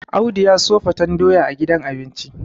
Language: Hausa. Audu ya siyo faten doya a gidan abinci